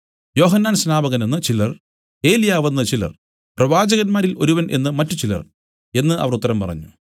യോഹന്നാൻ സ്നാപകനെന്ന് ചിലർ ഏലിയാവെന്ന് ചിലർ പ്രവാചകന്മാരിൽ ഒരുവൻ എന്നു മറ്റുചിലർ എന്നു അവർ ഉത്തരം പറഞ്ഞു